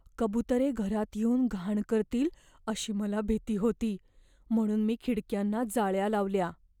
कबुतरे घरात येऊन घाण करतील अशी मला भीती होती, म्हणून मी खिडक्यांना जाळ्या लावल्या.